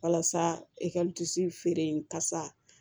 Walasa e ka feere in ka sa